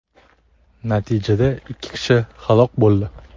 Natijada ikki kishi halok bo‘ldi.